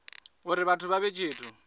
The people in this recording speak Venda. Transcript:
uri vhathu vha vhe tshithu